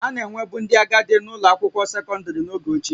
A na-enwebu ndị agadi na-ụlọ akwụkwọ sekọndrị n'oge ochie